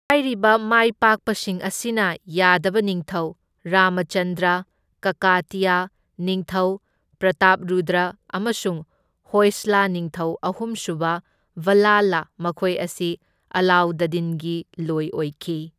ꯍꯥꯏꯔꯤꯕ ꯃꯥꯏꯄꯥꯛꯄꯁꯤꯡ ꯑꯁꯤꯅ ꯌꯥꯗꯕ ꯅꯤꯡꯊꯧ ꯔꯥꯃꯥꯆꯟꯗ꯭ꯔ, ꯀꯀꯥꯇꯤꯌ ꯅꯤꯡꯊꯧ ꯄ꯭ꯔꯇꯥꯞꯔꯨꯗ꯭ꯔ ꯑꯃꯁꯨꯡ ꯍꯣꯏꯁꯂꯥ ꯅꯤꯡꯊꯧ ꯑꯍꯨꯝꯁꯨꯕ ꯕꯜꯂꯥꯂ ꯃꯈꯣꯏ ꯑꯁꯤ ꯑꯂꯥꯎꯗꯗꯤꯟꯒꯤ ꯂꯣꯏ ꯑꯣꯏꯈꯤ꯫